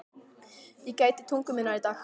Ég gæti tungu minnar í dag.